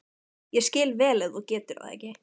Ég skil vel ef þú getur það ekki.